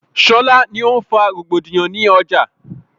Ṣọlá ni o ń fa rògbòdìyàn ni ọjà